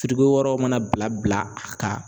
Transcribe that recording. wɛrɛw mana bila bila a kan